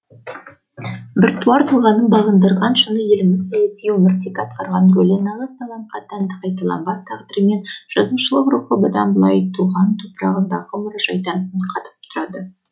біртуар тұлғаның бағындырған шыңы еліміздің саяси өміріндегі атқарған рөлі нағыз талантқа тән қайталанбас тағдыры мен жазушылық рухы бұдан былай туған топырағындағы мұражайдан үн қатып тұрады